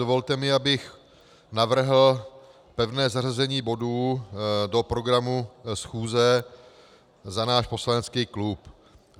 Dovolte mi, abych navrhl pevné zařazení bodů do programu schůze za náš poslanecký klub.